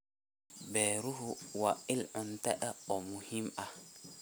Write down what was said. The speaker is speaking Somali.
Beeruhu waa il cunto oo muhiim ah.